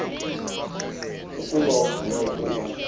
ukuba uvume ukuba